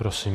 Prosím.